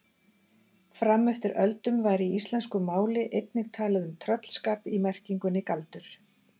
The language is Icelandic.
Fram eftir öldum var í íslensku máli einnig talað um tröllskap í merkingunni galdur.